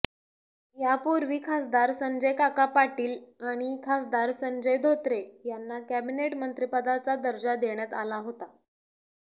यापूर्वी खासदार संजयकाका पाटील आणि खासदार संजय धोत्रे यांना कॅबिनेट मंत्रिपदाचा दर्जा देण्यात आला होता